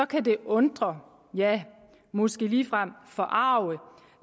kan det undre ja måske ligefrem forarge